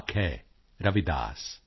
कर्म मानुष का धर्म है सत् भाखै रविदास